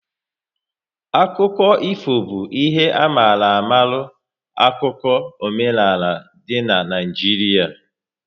Akụkọ ifo bụ ihe a mara amala 'akụkụ omenaala dị n' Naijiria